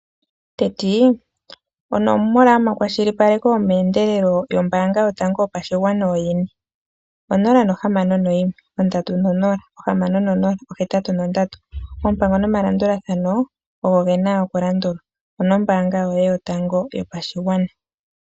Tetii onomola yomakwashilipaleko yomeendelelo yombaanga yotango yopashigwana oyini? 061306083, oompango nomalandulathano ogo gena okulandulwa nombaanga yoye totango yopashinanena.